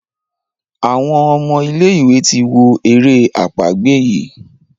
Àwọn omo ilé ìwé tí wọ èrè àpagbè yi.